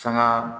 Sanga